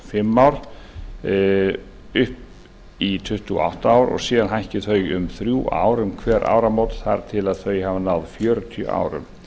fimm ár upp í tuttugu og átta ár og síðan hækki þau um þrjú ár um hver áramót þar til þau hafa náð fjörutíu árum